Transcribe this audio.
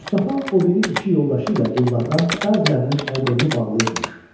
Mustafa o biri iki yoldaşı ilə qullardan bəzilərinin əl-qolunu bağlayıbmış.